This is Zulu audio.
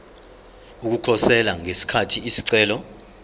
ukukhosela ngesikhathi isicelo